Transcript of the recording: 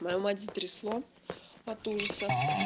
мою мать затрясло от ужаса